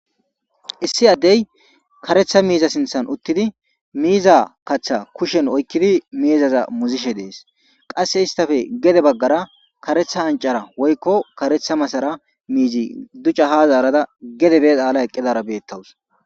issi addey karetha miiza sinthan uttidi miiza kaththa kushen oykkidi miizaza muzishe dees qase istafe gede baggara karetha ancara woykko karetha masara miizi ducca ha zaarada gedebe aala eqqidara beettawus.